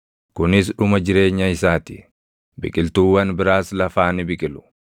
Kunis dhuma jireenya isaa ti; biqiltuuwwan biraas lafaa ni biqilu.